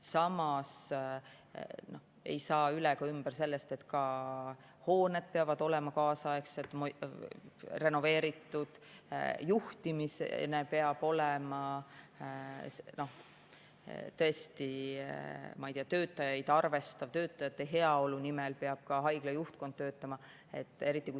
Samas ei saa üle ega ümber sellest, et ka hooned peavad olema kaasaegsed ja renoveeritud, juhtimine peab olema tõesti töötajaid arvestav, ka haigla juhtkond peab töötama töötajate heaolu nimel.